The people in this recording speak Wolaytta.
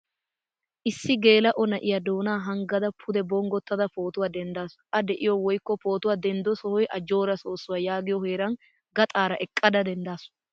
Issi gelao na'iyaa doonaa hanggada pude bonggotada pootuwaa denddasu. A de'iyo woykko pootuwaa denddo sohoy ajjora soosuwaa yaagiyo heeran gaxaara eqqada denddasu.